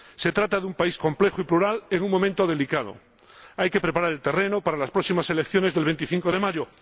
Se trata de un país complejo y plural en un momento delicado hay que preparar el terreno para las próximas elecciones del 25 de mayo.